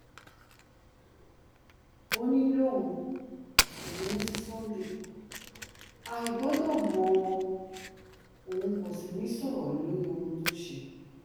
òónì lòun kò bínú sí sunday igbodò mọ́ òun kò sì ní í sọ̀rọ̀ lórí ohun tó ṣe